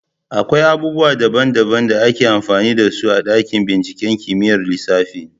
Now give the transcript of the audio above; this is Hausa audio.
Akwai abubuwa daban-daban da ake amfani da su a dakin binciken kimiyyar lissafi.